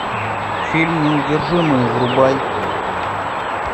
фильм неудержимые врубай